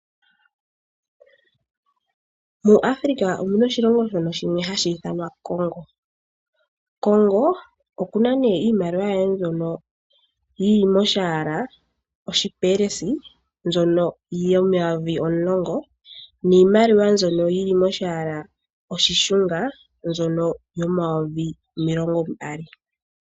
MuAfrica omuna oshilonga shimwe shono hashi ithanwa Kongo, Kongo okuna ne iimaliwa yaye mbyono yili molwaala oshipelesi mbyono yomayovi omulongo niimalwa mbyono yili molwaala oshishunga mbyono yomayovi omilongo mbali.